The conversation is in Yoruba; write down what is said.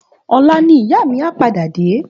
Òlá ni ìyá mi á pàdá dé